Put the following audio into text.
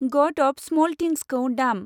गड of Small थिंसखौ दाम।